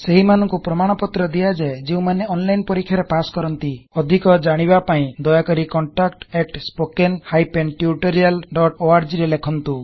ସେହିମାନଂକୁ ପ୍ରମାଣ ପତ୍ର ଦିଆଯାଏ ଯେଉଁମାନେ ଅନଲାଇନ୍ ପରୀକ୍ଷା ରେ ପାସ୍ କରନ୍ତି ଅଧିକ ଜାଣିବା ପାଇଁ ଦୟାକରି contactspoken tutorialorg ରେ ଲେଖନ୍ତୁ